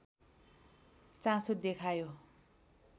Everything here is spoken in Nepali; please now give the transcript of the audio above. चासो देखायो